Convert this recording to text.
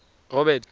robert